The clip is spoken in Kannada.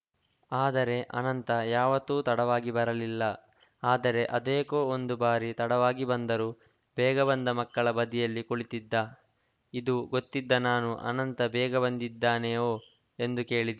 ಆದರೆ ಅನಂತ ಯಾವತ್ತೂ ತಡವಾಗಿ ಬರಲಿಲ್ಲ ಆದರೆ ಅದೇಕೋ ಒಂದು ಬಾರಿ ತಡವಾಗಿ ಬಂದರೂ ಬೇಗ ಬಂದ ಮಕ್ಕಳ ಬದಿಯಲ್ಲಿ ಕುಳಿತಿದ್ದ ಇದು ಗೊತ್ತಿದ್ದ ನಾನು ಅನಂತ ಬೇಗ ಬಂದಿದ್ದಾನೆಯೋ ಎಂದು ಕೇಳಿದೆ